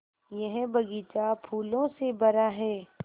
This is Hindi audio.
यह बग़ीचा फूलों से भरा है